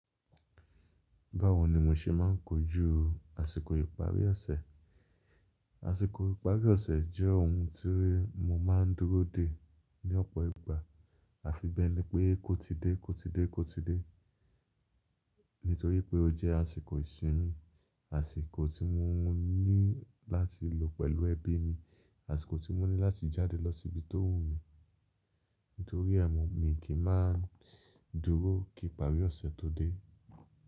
Báwo ni mo ṣe máa ń kojú àsìkò ìparí ọ̀sẹ̀? Àsìkò ìparí ọ̀sẹ̀ jẹ́ ohun tí mo máa ń dúró de ní ọ̀pọ̀ ìgbà. Àfi bẹ́ẹ̀ ni pé kò ti dé, kò ti dé, kò ti dé. Nítorí pé ó jẹ́ àsìkò ìsinmi, àsìkò tí mo ní láti lò pẹ̀lú ẹbí ni. Àsìkò tí mo ní láti jáde lọ sí ibi tó wù mí. Nítorí àmọ́ mi kì í máa dúró kí ìparí ọ̀sẹ̀ tó dé.